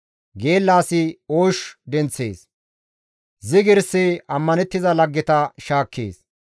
Geella asi oosh denththees; zigirsi ammanettiza laggeta shaakkees.